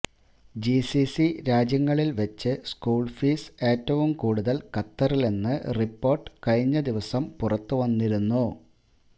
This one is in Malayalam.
ജിസിസി രാജ്യങ്ങളിൽ വെച്ച് സ്കൂൾ ഫീസ് ഏറ്റവും കൂടുതൽ ഖത്തറിലെന്ന് റിപ്പോർട്ട് കഴിഞ്ഞ ദിവസം പുറത്ത് വന്നിരുന്നു